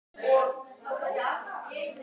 Maðurinn er mótaður af samspili erfða og umhverfis.